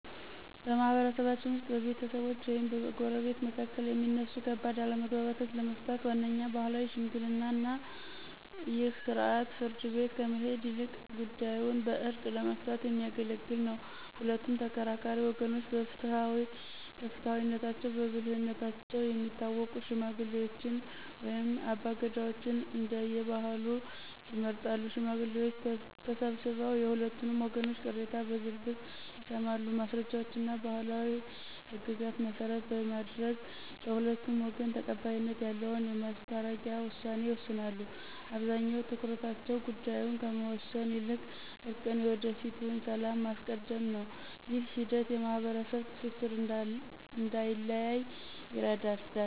በማኅበረሰባችን ውስጥ በቤተሰቦች ወይም በጎረቤቶች መካከል የሚነሱ ከባድ አለመግባባቶችን ለመፍታት ዋነኛው ባሕላዊ ዘዴ ሽምግልና ነው። ይህ ሥርዓት ፍርድ ቤት ከመሄድ ይልቅ ጉዳዩን በዕርቅ ለመፍታት የሚያገለግል ነው። ሁለቱም ተከራካሪ ወገኖች በፍትሐዊነታቸውና በብልህነታቸው የሚታወቁ ሽማግሌዎችን ወይም አባገዳዎችን (እንደየባህሉ) ይመርጣሉ። ሽማግሌዎቹ ተሰብስበው የሁለቱንም ወገኖች ቅሬታ በዝርዝር ይሰማሉ። ማስረጃዎችንና ባሕላዊ ሕግጋትን መሠረት በማድረግ፣ ለሁለቱም ወገን ተቀባይነት ያለውን የማስታረቂያ ውሳኔ ይሰጣሉ። አብዛኛው ትኩረታቸው ጉዳዩን ከመወሰን ይልቅ እርቅንና የወደፊቱን ሰላም ማስቀደም ነው። ይህ ሂደት የማኅበረሰብ ትስስር እንዳይላላ ይረዳል።